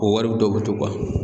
O wari dɔ be to